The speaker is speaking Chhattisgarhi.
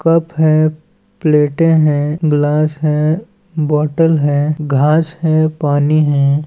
कप है प्लेटे है गिलास है बाटल है घास है पानी है।